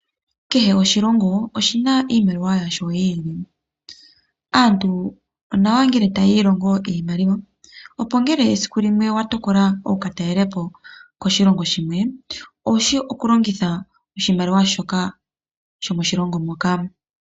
Kehe oshilongo oshina iimaliwa yasho yi ili. Aantu onawa ngele taya ilongo iimaliwa, opo ngele esiku limwe owa tokola oku ka talelapo koshilongo shimwe , owu shi okulongitha oshimaliwa shomoshilongo moka.